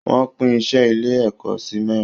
Wọ́n pín iṣẹ́ ilé ẹ̀kọ́ si mẹ́rin